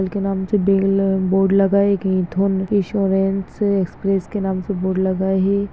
नाम से bell board लगा है। एक इन्श्योरेन्स एक्स्प्रेस के नाम से बोर्ड लगा है।